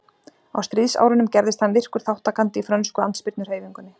á stríðsárunum gerðist hann virkur þátttakandi í frönsku andspyrnuhreyfingunni